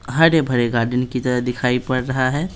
हरे भरे गार्डन की तरह दिखाई पड़ रहा है।